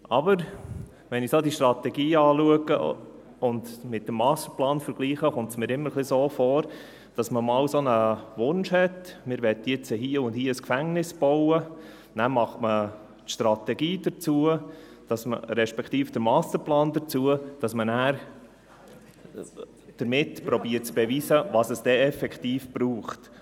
Aber wenn ich die Strategie betrachte und mit dem Masterplan vergleiche, erscheint es mir immer ein wenig so, als hätte man einmal den Wunsch gehabt, nun hier und dort ein Gefängnis zu bauen, und danach macht man den Masterplan dazu und versucht damit zu beweisen, was es dann effektiv braucht.